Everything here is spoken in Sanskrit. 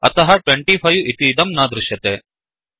अतः 25 इतीदं न दृश्यते